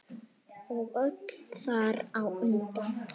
Og öll þar á undan.